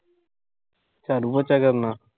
ਝਾੜੂ-ਪੋਚਾ ਕਰਨਾ